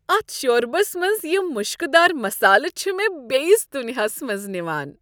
اتھ شۄربس منٛز یم مشکہ دار مسالہٕ چھ مےٚ بیٚیس دنیاہس منٛز نوان۔